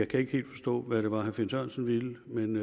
kan ikke helt forstå hvad det var herre finn sørensen ville men